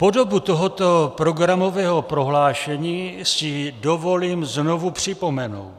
Podobu tohoto programového prohlášení si dovolím znovu připomenout: